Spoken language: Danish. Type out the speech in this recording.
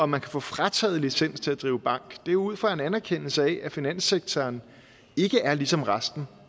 man kan få frataget licens til at drive bank det er jo ud fra en anerkendelse af at finanssektoren ikke er ligesom resten